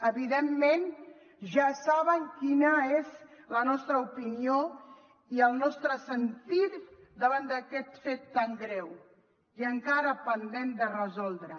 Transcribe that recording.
evidentment ja saben quina és la nostra opinió i el nostre sentir davant d’aquest fet tan greu i encara pendent de resoldre